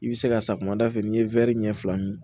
I bɛ se ka safunɛ dafɛ n'i ye ɲɛ fila min